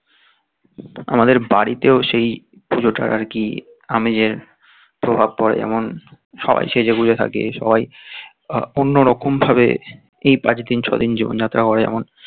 আমাদের বাড়িতেও সেই পুজোটা আর কি আমিরের প্রভাব পরে এমন সবাই সেজে গুঁজে থাকে সবাই অন্য রকম ভাবে এই পাঁচ দিন ছয় দিন জীবনযাত্রা